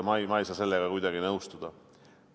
Nii et ma ei saa sellega kuidagi nõustuda.